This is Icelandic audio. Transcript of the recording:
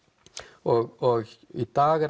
og í dag er